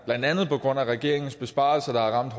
blandt andet på grund af regeringens besparelser der har ramt